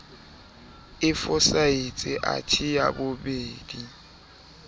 e fosahetse athe ya bobedi